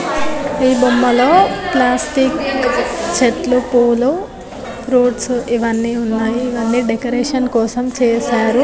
ఈ బొమ్మలో ప్లాస్టిక్ చెట్లు పూలు ఫ్రూట్స్ ఇవన్నీ ఉన్నాయి ఇవన్నీ డెకరేషన్ కోసం చేశారు .